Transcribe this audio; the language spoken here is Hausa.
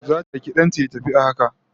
Zata aiki dan ta ya tafi a haka